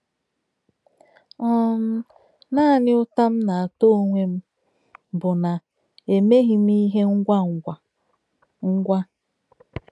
um Naanị ụta m na-ata onwe m bụ na-emeghi m ihe ngwa ngwa. ngwa.